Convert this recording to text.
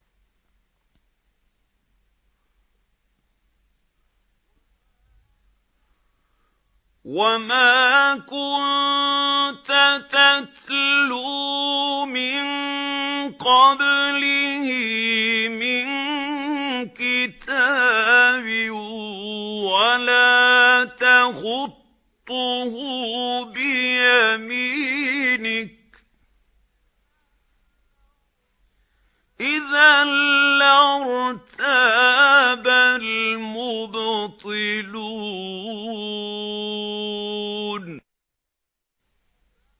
وَمَا كُنتَ تَتْلُو مِن قَبْلِهِ مِن كِتَابٍ وَلَا تَخُطُّهُ بِيَمِينِكَ ۖ إِذًا لَّارْتَابَ الْمُبْطِلُونَ